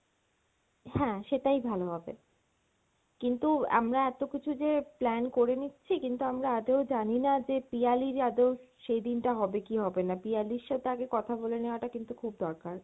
হ্যাঁ সেটাই ভালো হবে, কিন্তু আমরা এত কিছু যে plan করে নিচ্ছি কিন্তু আমরা আদেও জানি না যে পিয়ালির আদেও সেইদিন টা হবে কী হবে না, পিয়ালির সাথে আগে কথা বলে নেওয়াটা টা কিন্তু খুব দরকার।